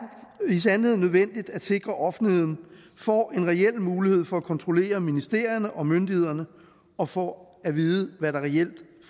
i sandhed nødvendigt at sikre at offentligheden får en reel mulighed for at kontrollere ministerierne og myndighederne og får at vide hvad der reelt der